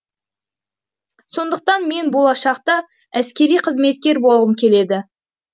сондықтан мен болашақта әскери қызметкер болғым келеді